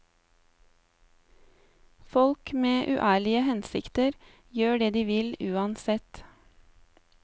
Folk med uærlige hensikter gjør det de vil uansett.